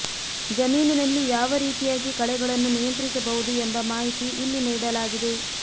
ಜಮೀನಿನಲ್ಲಿ ಯಾವ ರೀತಿಯಾಗಿ ಕಳೆಗಳನ್ನು ನಿಯಂತ್ರಿಸಬಹುದು ಎಂಬ ಮಾಹಿತಿ ಇಲ್ಲಿ ನೀಡಲಾಗಿದೆ